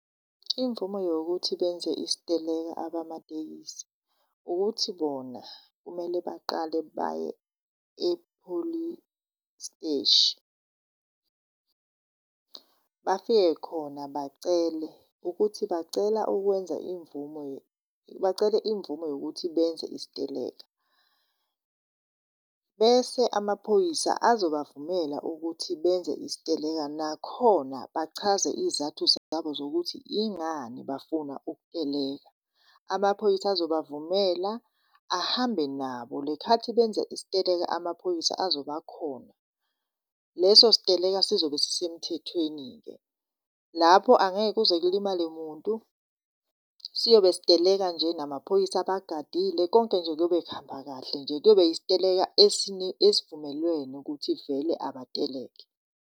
Imvume yokuthi benze isiteleka abamatekisi ukuthi bona kumele baqale baye epholisiteshi. Bafike khona bacele ukuthi bacela ukwenza imvumo, bacele imvume yokuthi benze isiteleka. Bese amaphoyisa azobavumela ukuthi benze isiteleka, nakhona bachaze iy'zathu zabo zokuthi yingani bafuna ukuteleka. Amaphoyisa azobavumela ahambe nabo, lekhathi benza isiteleka amaphoyisa azobakhona. Leso siteleka sizobe sisemthethweni-ke. Lapho angeke kuze kulimale muntu, siyobe siteleka nje namaphoyisa abagadile. Konke nje kuyobe kuhamba kahle nje kuyobe yisiteleka esivumelwene ukuthi vele abateleke.